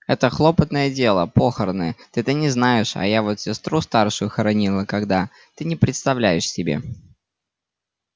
это хлопотное дело похороны ты-то не знаешь а я вот сестру старшую хоронила когда ты не представляешь себе